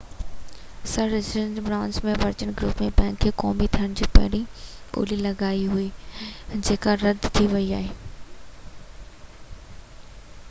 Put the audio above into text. سر Richard Branson جي Virgin group bank کي قومي ٿيڻ کان پهرين ٻولي لڳائي هئي جيڪا رد ٿي ويئي هئي